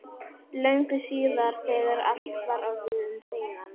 Löngu síðar, þegar allt var orðið um seinan.